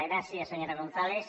gràcies senyora gonzález